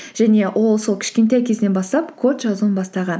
және ол сол кішкентай кезінен бастап код жазуын бастаған